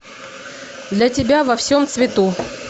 для тебя во всем цвету